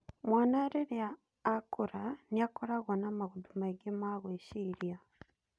Mwana rĩrĩa akũra nĩakoragwo na maũndũ maingĩ ma gũĩciria.